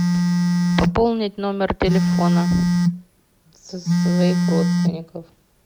пополнить номер телефона своих родственников